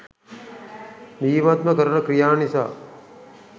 බීමත්ව කරන ක්‍රියා නිසා